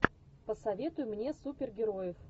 посоветуй мне супергероев